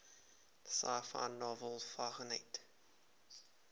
sci fi novel fahrenheit